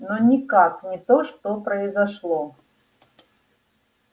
но никак не то что произошло